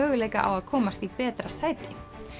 möguleika á að komast í betra sæti